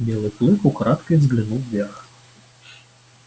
белый клык украдкой взглянул вверх